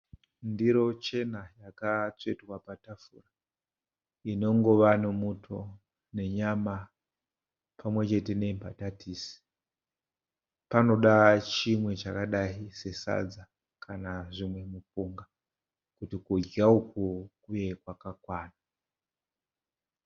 Ndiro chena yakatsvetwa patafura. Inongova nemuto nenyama pamwechete nembatatisi. Panoda chimwe chakadai sesadza kana zvimupunga kuti kudya uku kuve kwakakwana.